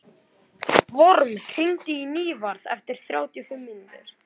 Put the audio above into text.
Vorm, hringdu í Nývarð eftir þrjátíu og fimm mínútur.